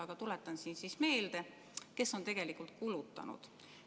Aga tuletan meelde, kes on tegelikult kulutanud.